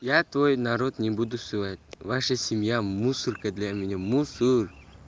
я твой народ не буду сувать ваша семья мусорка для меня мусор